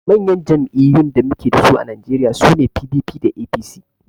Manyan jam'iyyun da muke dasu a najeriya sune PDP da APC